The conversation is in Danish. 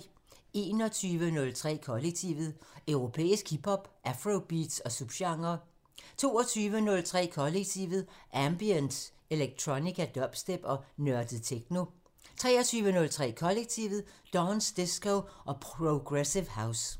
21:03: Kollektivet: Europæisk hip hop, afrobeats og subgenrer 22:03: Kollektivet: Ambient, electronica, dubstep og nørdet techno 23:03: Kollektivet: Dance, disco og progressive house